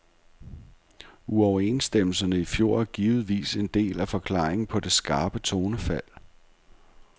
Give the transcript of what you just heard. Uoverenstemmelserne i fjor er givetvis en del af forklaringen på det skarpe tonefald.